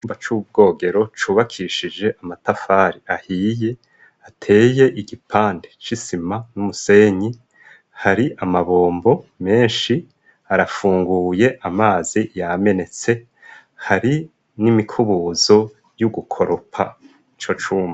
Mpa c'ubwogero cubakishije amatafari ahiye ateye igipande c'isima n'umusenyi hari amabombo menshi arafunguye amazi yamenetse hari n'imikubuzo y'ugukoropa ico cumba.